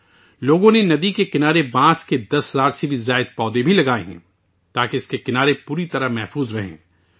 لوگوں نے ندی کے کنارے 10 ہزار سے زیادہ بانس کے پودے بھی لگائے ہیں تاکہ اس کے کنارے مکمل طور پر محفوظ رہیں